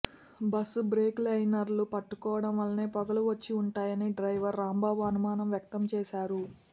bus brake liners పట్టుకోవడం వల్లనే పొగలు వచ్చి ఉంటాయని డ్రైవర్ రాంబాబు అనుమానం వ్యక్తం చేశారు